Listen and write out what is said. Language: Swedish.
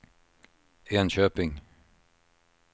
Enköping